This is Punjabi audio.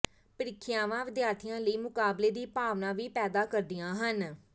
ਪ੍ਰੀਖਿਆਵਾਂ ਵਿਦਿਆਰਥੀਆਂ ਲਈ ਮੁਕਾਬਲੇ ਦੀ ਭਾਵਨਾ ਵੀ ਪੈਦਾ ਕਰਦੀਆਂ ਹਨ